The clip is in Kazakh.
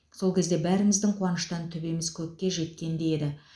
сол кезде бәріміздің қуаныштан төбеміз көкке жеткендей еді